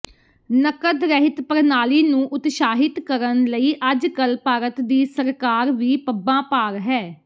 ਨਕਦ ਰਹਿਤ ਪ੍ਰਣਾਲੀ ਨੂੰ ਉਤਸ਼ਾਹਿਤ ਕਰਨ ਲਈ ਅੱਜਕੱਲ ਭਾਰਤ ਦੀ ਸਰਕਾਰ ਵੀ ਪੱਬਾਂ ਭਾਰ ਹੈ